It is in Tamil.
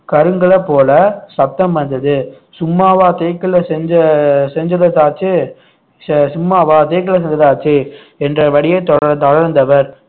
கருங்கல்ல போல சத்தம் வந்தது சும்மாவா தேக்குல செஞ்ச செஞ்சததாத்தாச்சே செ~ சும்மாவா தேக்குல செஞ்ச செஞ்சதைத்தாச்சே என்ற படியே தொட~ தொடர்ந்தவர்